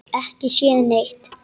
Ekki séð neitt.